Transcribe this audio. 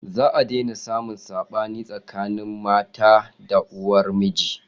Za a daina samun saɓani tsakanin mata da uwar miji.